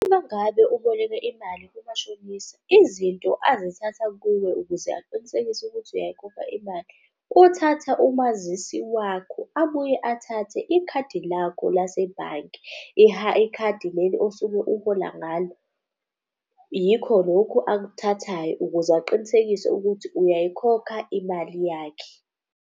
Uma ngabe uboleke imali kumashonisa izinto azithatha kuwe ukuze aqinisekise ukuthi uyayikhokha imali. Uthatha umazisi wakho, abuye athathe ikhadi lakho lasebhange. Ikhadi leli osuke uhola ngalo. Yikho lokhu akuthathayo ukuze aqinisekise ukuthi uyayikhokha imali yakhe.